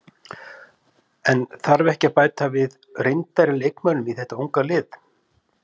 En þarf ekki að bæta við reyndar leikmönnum í þeta unga lið?